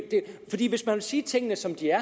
hvis man vil sige tingene som de er